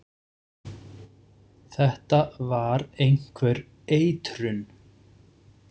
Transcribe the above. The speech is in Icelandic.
Þetta var einhver eitrun.